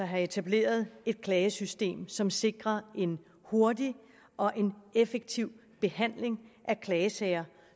have etableret et klagesystem som sikrer en hurtig og effektiv behandling af klager